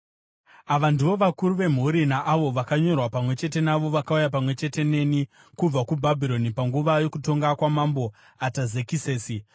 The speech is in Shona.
Ava ndivo vakuru vemhuri naavo vakanyorwa pamwe chete navo vakauya pamwe chete neni kubva kuBhabhironi panguva yokutonga kwaMambo Atazekisesi: